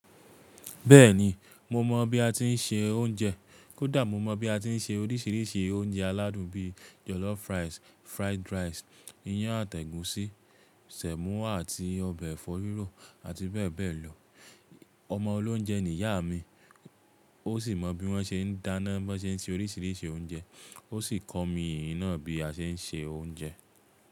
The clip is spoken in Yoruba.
Bẹ́ẹ̀ni, mo mọ̀ bí a ti ń se oúnjẹ kódà mo mọ̀ bí a ti ń se oríṣiríṣi oúnjẹ aládùn bíi jollof rice, fried rice, iyán àti ẹ̀gúsí, sẹ̀mọ́ àti ọbẹ̀ ẹ̀fọ́ rírò àti bẹ́ẹ̀ bẹ́ẹ̀ lọ. Ọmọ olóunjẹ ni ìyá mi ó sì mọ bí wọ́n ṣe ń dáná, bó ṣe ń se oríṣiríṣi oúnjẹ ó sì kọ́ mi eyi náà bí a ṣe ń se oúnjẹ.